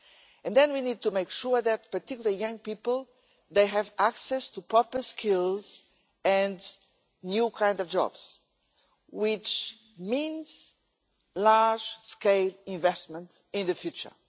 And then we need to make sure that people, particularly young people, have access to proper skills and new kinds of job, which means large scale investment in the future.